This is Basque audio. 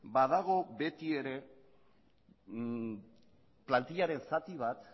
badago betiere plantillaren zati bat